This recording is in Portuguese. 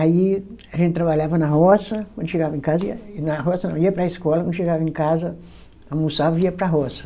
Aí a gente trabalhava na roça, quando chegava em casa ia, na roça não, ia para a escola, quando chegava em casa, almoçava e ia para a roça.